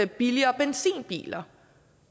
billigere benzinbiler